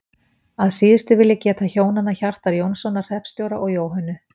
Að síðustu vil ég geta hjónanna Hjartar Jónssonar hreppstjóra og Jóhönnu